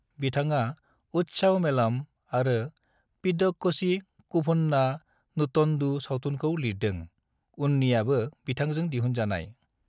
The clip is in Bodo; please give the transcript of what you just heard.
बिथाङा उल्सावमेलम आरो पिदक्कोझी कुभुन्ना नुटन्डु सावथुनफोरखौ लिरदों, उननियाबो बिथांजों दिहुनजानाय।